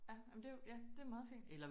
Ja ej men det jo ja det jo meget fint